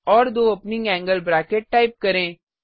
और दो opening angle bracket type करें